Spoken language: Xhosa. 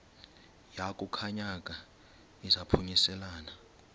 yaku khankanya izaphuselana